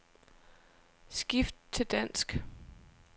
Skift til dansk.